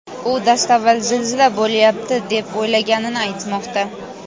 U dastavval zilzila bo‘lyapti deb o‘ylaganini aytmoqda.